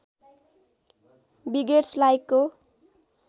begets लाइकको